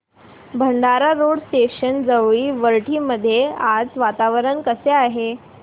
Bhandara road station जवळील वरठी मध्ये आज वातावरण कसे आहे